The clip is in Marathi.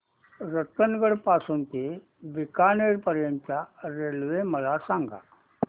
रतनगड पासून ते बीकानेर पर्यंत च्या रेल्वे मला सांगा